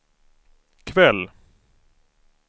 kväll